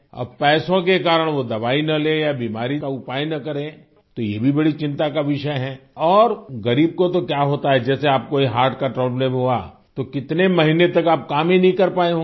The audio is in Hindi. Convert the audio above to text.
अब पैसों के कारण वो दवाई न ले या बीमारी का उपाय न करें तो ये भी बड़ी चिंता का विषय है और गरीब को तो क्या होता है जैसे आपको ये हर्ट का प्रोब्लेम हुआ तो कितने महीने तक आप काम ही नहीं कर पाएं होंगे